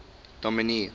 dominee